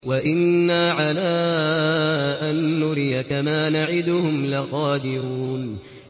وَإِنَّا عَلَىٰ أَن نُّرِيَكَ مَا نَعِدُهُمْ لَقَادِرُونَ